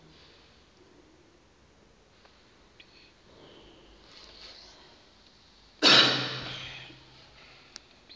le nto yamenza